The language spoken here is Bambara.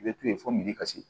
I bɛ to yen fo miliyɔn ka se